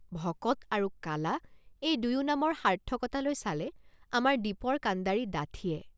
ভকত আৰু কালা এই দুয়ো নামৰ সাৰ্থকতালৈ চালে আমাৰ দীপৰ কাণ্ডাৰী ডাঠিয়ে।